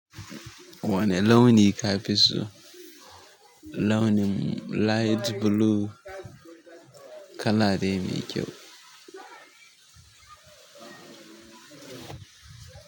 Wane launi ka fi so? Launi light blue kala de mai kyau.